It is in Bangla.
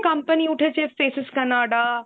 company উঠেছে Faces Canada,